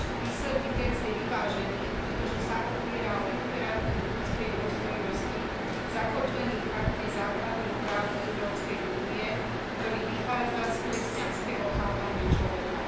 Výsledný text je vyvážený, pretože sa opiera o imperatív ľudskej dôstojnosti zakotvený v Charte základných práv Európskej únie, ktorý vychádza z kresťanského chápania človeka.